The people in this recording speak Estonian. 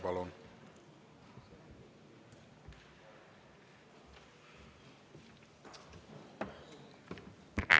Palun!